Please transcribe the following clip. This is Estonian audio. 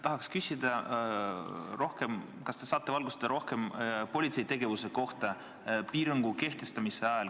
Tahaks küsida, et kas te saaksite valgustada politsei tegevust selle piirangu kehtivuse ajal.